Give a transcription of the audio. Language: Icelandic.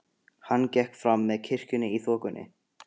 Hann gekk fram með kirkjunni í þokunni.